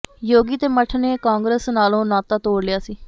ਯੋਗੀ ਤੇ ਮੱਠ ਨੇ ਕਾਂਗਰਸ ਨਾਲੋਂ ਨਾਤਾ ਤੋੜ ਲਿਆ ਸੀ